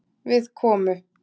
Við komu